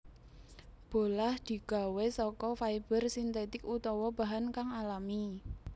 Bolah digawé saka fiber sintètik utawa bahan kang alami